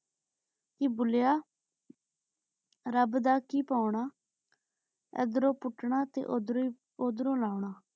ਕੀ ਭੁਲ੍ਲ੍ਯਾ ਰਾਬ ਦਾ ਕੀ ਪਾਉਣ ਆ ਏਡ੍ਰੋੰ ਪੂਤਨਾ ਤੇ ਓਦਰੋਂ ਓਦਰੋਂ ਈ ਲਾਉਣਾ